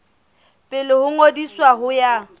pele ho ngodiso ho ya